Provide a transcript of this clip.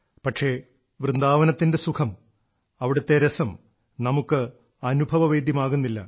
പക്ഷേ വൃന്ദാവനത്തിന്റെ സുഖം അവിടത്തെ രസം നമുക്ക് അനുഭവവേദ്യമാകുന്നില്ല